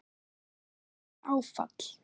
Við fengum bara áfall.